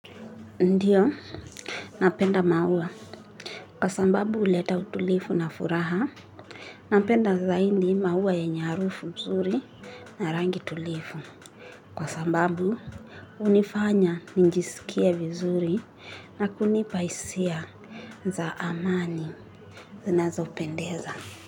Ndiyo napenda maua kwa sambabu uleta utulifu na furaha napenda zaindi maua yenye arufu mzuri na rangi tulifu kwa sambabu unifanya ninjisikie vizuri na kunipa isia za amani zinazo pendeza. Kwa hivyo.